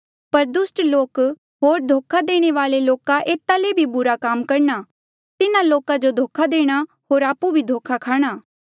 पर दुस्ट लोक होर धोखा देणे वाले लोका एता ले भी बुरा काम करणा तिन्हा लोका जो धोखा देणा होर आपु भी धोखा खाणा